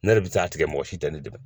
Ne yɛrɛ bi t'a tigɛ mɔgɔ si tɛ ne dɛmɛ.